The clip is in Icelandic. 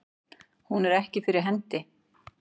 Hún er ekki fyrir hendi.